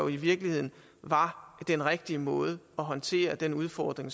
i virkeligheden var den rigtige måde at håndtere den udfordring